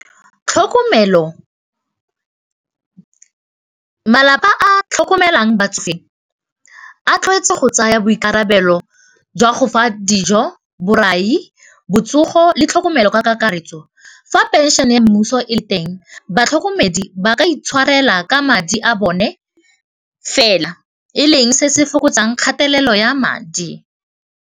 Tlhokomelo, malapa a tlhokomelang batsofe a tlwaetse go tsaya boikarabelo jwa go fa dijo, borai, botsogo le tlhokomelo ka kakaretso fa pension-e mmuso e le teng batlhokomedi ba ka itshwarela ka madi a bone fela e leng se se fokotsang kgatelelo ya madi.